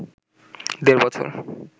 দেড় বছর